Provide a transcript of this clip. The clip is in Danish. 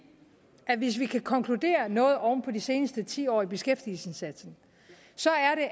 at hvis vi kan konkludere noget oven på de seneste ti år i beskæftigelsesindsatsen